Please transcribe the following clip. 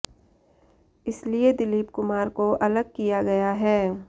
इसलिए दिलीप कुमार को अलग किया गया है